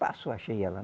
Passou, achei ela.